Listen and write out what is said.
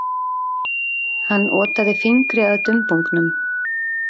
Hann otaði fingri að dumbungnum.